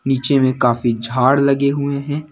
नीचे में काफी झाड़ लगे हुए हैं।